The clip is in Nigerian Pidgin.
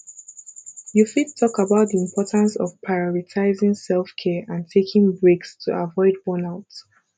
you fit talk about di importance of prioritizing selfcare and taking breaks to avoid burnout